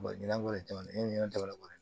ɲina ko ne ye ɲinɛ ko